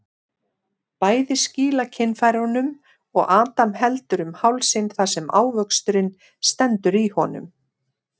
Bæði skýla kynfærunum og Adam heldur um hálsinn þar sem ávöxturinn stendur í honum.